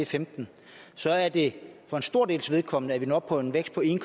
femten så er det for en stor dels vedkommende sådan at vi når op på en vækst på en